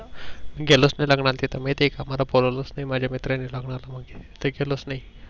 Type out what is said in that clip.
गेलोच नाही लग्नाला तिथं माहित आहे का मला बोलावलं च नाही माझ्या मित्रानी लग्नामध्ये तर गेलोच नाही.